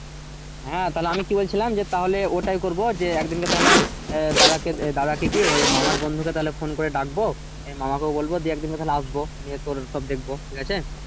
হ্যাঁ তাহলে আমি কি বলছিলাম তাহলে ওইটাই করবো যে একদিন ক তাহলে আহ দাদা ককে দাদা কে দিয়ে মামার বন্ধু তাকে তাহলে ফোন করে ডাকবো মামা কেও বলবো একদিন তাহলে আসবো দিয়ে করে সব দেখবো ঠিক আছে?